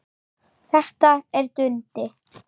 Þetta er Dundi!